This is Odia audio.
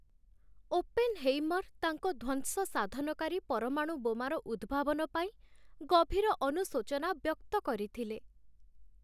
ଓପେନହେୟମର ତାଙ୍କ ଧ୍ଵଂସ ସାଧନକାରୀ ପରମାଣୁ ବୋମାର ଉଦ୍ଭାବନ ପାଇଁ ଗଭୀର ଅନୁଶୋଚନା ବ୍ୟକ୍ତ କରିଥିଲେ।